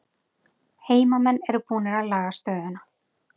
Heimamenn eru búnir að laga stöðuna